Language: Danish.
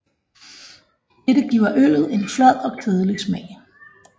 Dette giver øllet en flad og kedelig smag